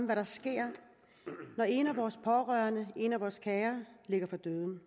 hvad der sker når en af vores pårørende en af vores kære ligger for døden